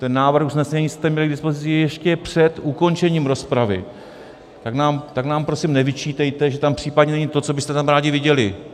Ten návrh usnesení jste měli k dispozici ještě před ukončením rozpravy, tak nám prosím nevyčítejte, že tam případně není to, co byste tam rádi viděli.